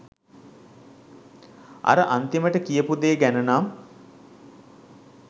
අර අන්තිමට කියපු දේ ගැනනම්